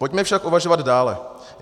Pojďme však uvažovat dále.